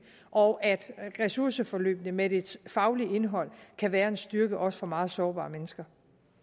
og at ressourceforløbene med deres faglige indhold kan være en styrke for også meget sårbare mennesker